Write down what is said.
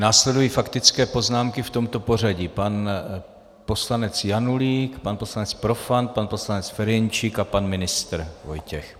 Následují faktické poznámky v tomto pořadí - pan poslanec Janulík, pan poslanec Profant, pan poslanec Ferjenčík a pan ministr Vojtěch.